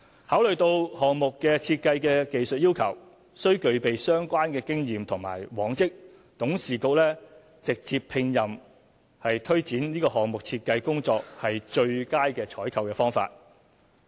考慮到項目設計的技術要求需具備相關經驗和往績，董事局直接聘任是推展此項目設計工作的最佳採購方法。